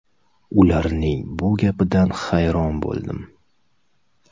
Ularning bu gapidan hayron bo‘ldim.